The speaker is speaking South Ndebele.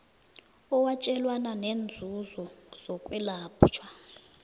owatjelwana ngeenzuzo zokwelatjhwa